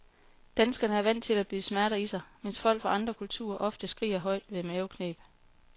Danskerne er vant til at bide smerter i sig, mens folk fra andre kulturer ofte skriger højt ved mavekneb.